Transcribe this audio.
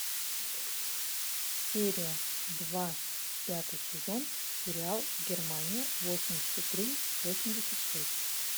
серия два пятый сезон сериал германия восемьдесят три восемьдесят шесть